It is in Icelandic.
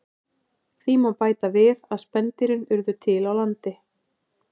Því má bæta við að spendýrin urðu til á landi.